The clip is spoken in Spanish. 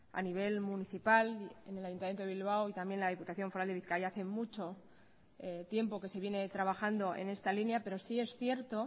a nivel municipal en el ayuntamiento de bilbao y también la diputación foral de bizkaia hace mucho tiempo que se viene trabajando en esta línea pero sí es cierto